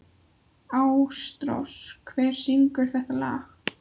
Ásrós, hver syngur þetta lag?